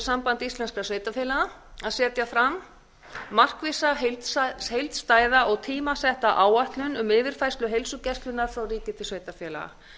samband íslenskra sveitarfélaga að setja fram markvissa heildstæða og tímasetta áætlun um yfirfærslu heilsugæslunnar frá ríki til sveitarfélaga